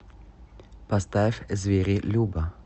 поставь звери люба